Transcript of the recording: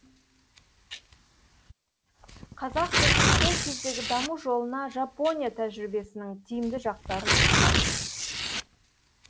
қазақ жұртының сол кездегі даму жолына жапония тәжірибесінің тиімді жақтарын ұсынған